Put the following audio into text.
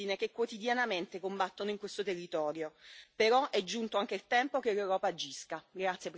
A questo proposito, ringrazio i carabinieri e tutte le forze dell'ordine che quotidianamente combattono in questo territorio.